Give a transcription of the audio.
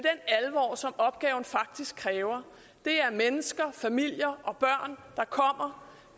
alvor som opgaven faktisk kræver det er mennesker familier og børn der kommer